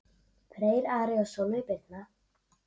Freyr, Ari og Sólveig Birna.